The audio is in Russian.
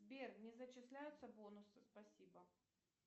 сбер не зачисляются бонусы спасибо